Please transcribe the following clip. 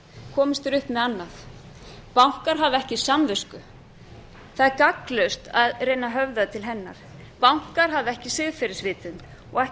komist þeir upp með annað bankar hafa ekki samvisku það er gagnslaust að reyna að höfða til hennar bankar hafa ekki siðferðisvitund og ekki